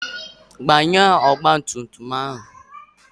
Gbanye ọgba tum tum ahụ!